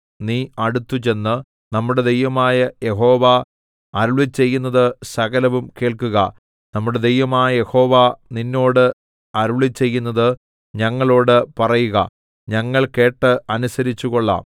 നീ അടുത്തുചെന്ന് നമ്മുടെ ദൈവമായ യഹോവ അരുളിച്ചെയ്യുന്നത് സകലവും കേൾക്കുക നമ്മുടെ ദൈവമായ യഹോവ നിന്നോട് അരുളിച്ചെയ്യുന്നത് ഞങ്ങളോട് പറയുക ഞങ്ങൾ കേട്ട് അനുസരിച്ചുകൊള്ളാം